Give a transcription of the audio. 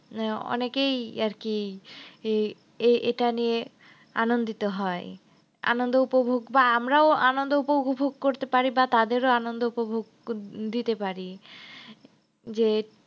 আহ অনেকেই আরকি এইটা নিয়ে আনন্দিত হয়। আনন্দ উপভোগ বা আমরাও আনন্দ উপভোগ করতে পারি বা তাদেরও আনন্দ উপভোগ উহ দিতে পারি যে